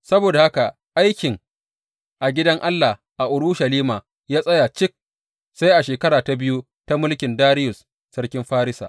Saboda haka aikin a gidan Allah a Urushalima ya tsaya cik sai a shekara ta biyu ta mulkin Dariyus sarkin Farisa.